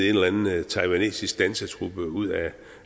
eller anden taiwanesisk dansetrup ud af et